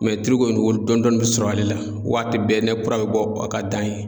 tulu kɔni o dɔɔni dɔɔni bɛ sɔrɔ ale la waati bɛɛ ni kura bɛ bɔ a ka dan ye.